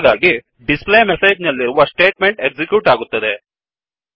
ಹಾಗಾಗಿdisplayMessageಡಿಸ್ ಪ್ಲೇ ಮೆಸೇಜ್ನಲ್ಲಿರುವ statement execute ಆಗುತ್ತದೆ